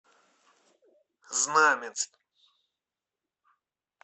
знаменск